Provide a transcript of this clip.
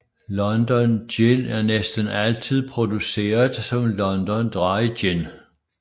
London Gin er næsten altid produceret som London Dry Gin